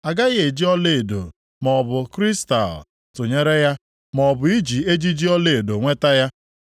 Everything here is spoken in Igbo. A gaghị eji ọlaedo maọbụ kristal tụnyere ya, maọbụ iji ejiji ọlaedo nweta ya.